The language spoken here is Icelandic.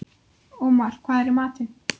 Ómar, hvað er í matinn?